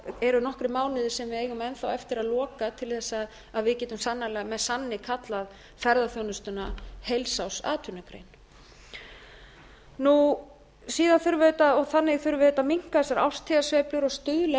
eru nokkrir mánuðir sem við eigum enn eftir að loka til að við getum með sanni kallað ferðaþjónustuna heilsárs atvinnugrein síðan þurfum við auðvitað og þannig þurfum við auðvitað að minnka þessar árstíðasveiflur og stuðla að